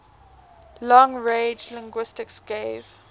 long range linguistics gave